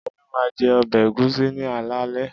Olú máa ń jẹ ọbẹ̀ ẹ̀gúsí ní alaalẹ́.